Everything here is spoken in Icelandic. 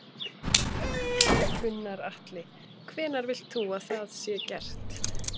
Gunnar Atli: Hvenær vilt þú að það sé gert?